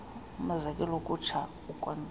umzekelo ukutsha ukonzakala